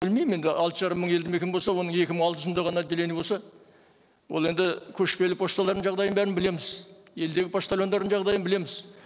білмеймін енді алты жарым мың елді мекен болса оның екі мың алты жүзінде ғана отделение болса ол енді көшпелі пошталардың жағдайын бәрін білеміз елдегі почтальондардың жағдайын білеміз